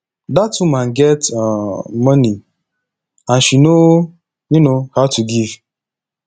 dat woman get um money and she no um how to give